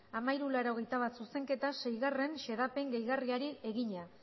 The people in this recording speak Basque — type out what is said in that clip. mila hirurehun eta laurogeita bat zuzenketa sei xedapen gehigarriari egina